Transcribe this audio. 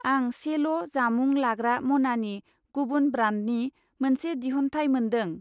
आं सेल' जामुं लाग्रा मनानि गुबुन ब्रान्डनि मोनसे दिहुनथाइ मोनदों।